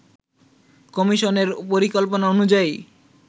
কমিশনের পরিকল্পনা অনুযায়ী